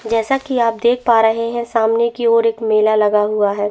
जैसा की आप देख पा रहे है सामने की ओर एक मेला लगा हुआ है।